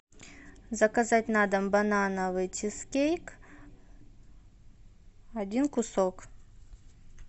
заказать на дом банановый чизкейк один кусок